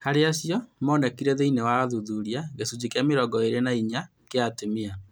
Harĩ acio monekire thĩinĩ wa ũthuthuria, gĩcunjĩ kĩa mĩrongo ĩĩrĩ na inya kĩa atumia